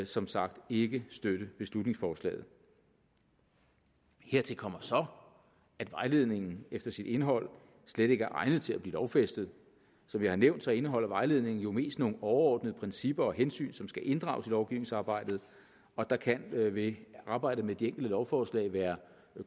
som sagt ikke støtte beslutningsforslaget hertil kommer så at vejledningen efter sit indhold slet ikke er egnet til at blive lovfæstet som jeg har nævnt indeholder vejledningen jo mest nogle overordnede principper og hensyn som skal inddrages i lovgivningsarbejdet og der kan ved arbejdet med de enkelte lovforslag være